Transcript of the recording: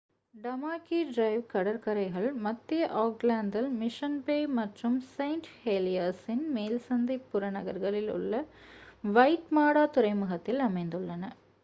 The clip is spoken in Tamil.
டமாகி டிரைவ் கடற்கரைகள் மத்திய ஆக்லாந்தில் மிஷன் பே மற்றும் செயின்ட் ஹெலியர்ஸின் மேல்சந்தை புறநகர்களில் உள்ள வைட்மாடா துறைமுகத்தில் அமைந்துள்ளன